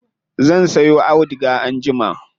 Zan siyo auduga anjima.